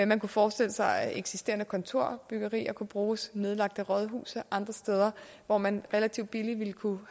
man kunne forestille sig at eksisterende kontorbyggerier kunne bruges nedlagte rådhuse andre steder hvor man relativt billigt ville kunne